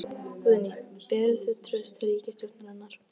Guðný: Berið þið traust til ríkisstjórnarinnar?